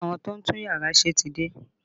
Ṣé àwọn tó ń tún yàrá ṣe ti dé?